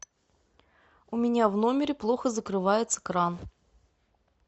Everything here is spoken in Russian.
у меня в номере плохо закрывается кран